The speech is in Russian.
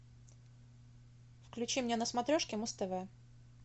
включи мне на смотрешке муз тв